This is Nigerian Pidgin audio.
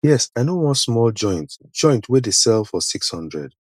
yes i know one small joint joint wey dey sell for six hundred